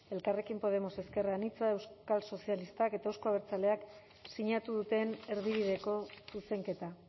elkarrekin podemos ezker anitzak euskal sozialistak eta euzko abertzaleak sinatu duten erdibideko zuzenketa